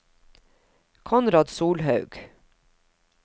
Konrad Solhaug